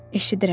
Eşidirəm.